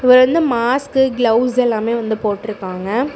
இவர் வந்து mask gloves எல்லாமே வந்து போட்ருக்காங்க.